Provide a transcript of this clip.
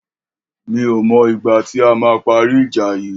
Mi ò mò igbà ti àmà pàrí ijà yi